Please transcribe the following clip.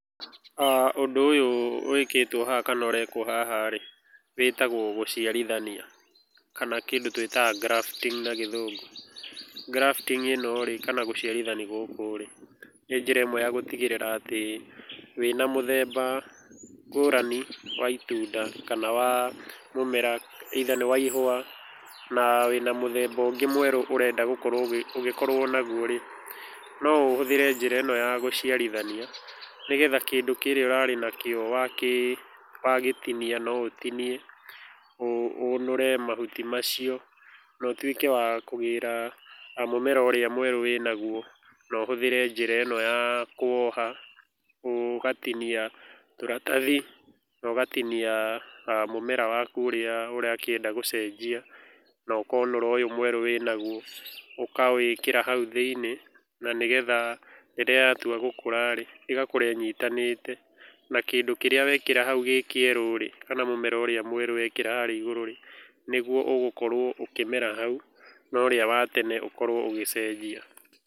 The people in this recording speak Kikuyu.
Ũndũ ũyũ wĩkĩtwo haha kana ũrekũo haha rĩ wĩtagũo gũciarithania kana kĩndũ twĩtaga grafting na gĩthũngũ. grafting ĩno kana gũciarithania gũkũ rĩ nĩ njĩra ĩmwe ya gũtigĩrĩra atĩ wĩna mũthemba ngũrani wa itunda kana wa mũmera either nĩ wa ihũa na wĩna mũthemba ũngĩ mwerũ ũrenda gũkorũo ũgĩkorũo naguo rĩ, no ũhũthĩre njĩra ĩno ya gũciarithania nĩgetha kĩndũ kĩrĩa ũrarĩ nakĩo wagĩtinia no ũtinie, ũnũre mahuti macio, na ũtuĩke wa kũgĩra mũmera ũrĩa mwerũ wĩnaguo na ũhũthĩre njĩra ĩno ya kũwoha. Ũgatinia tũratathi no ũgatinia mũmera waku ũrĩa ũrakĩenda gũcenjia, no ũkonũra ũyũ mwerũ wĩnaguo ũkawĩkĩra hau thĩini na nĩgetha rĩrĩa yatua gũkũra rĩ, ĩgakũra ĩnyitanĩte. Na kĩndũ kĩrĩa wekĩra hau gĩ kĩerũ rĩ, kana mũmera ũrĩa mwerũ wekĩra harĩa igũrũ rĩ, nĩguo ũgũkorũo ũkĩmera hau na ũrĩa wa tene ũkorũo ũgĩcenjia.